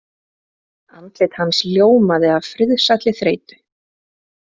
Andlit hans ljómaði af friðsælli þreytu.